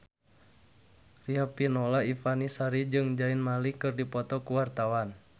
Riafinola Ifani Sari jeung Zayn Malik keur dipoto ku wartawan